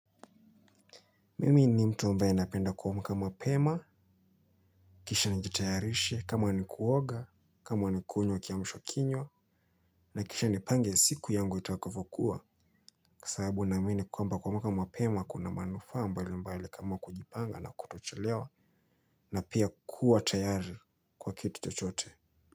Mimi ni mtu ambaye napenda kuamka mapema. Kisha nijitayarishe kama nikuoga kama nikunywa kiamisha kinywa na kisha nipange siku yangu itakavyo kuwa kwasababu naamini kwamba kuamka mapema kuna manufaa mbali mbali kama kujipanga na kutochelewa na pia kuwa tayari kwa kitu chochote.